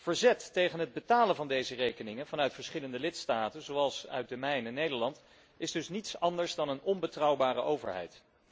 Verzet tegen het betalen van deze rekeningen vanuit verschillende lidstaten, zoals uit de mijne, Nederland, is dus niets anders dan een reactie van een onbetrouwbare overheid.